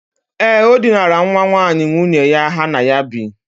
Ee, o dinara nwa nwaanyị nwunye ya ha na ya bi.